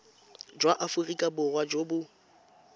jwa aforika borwa jo bo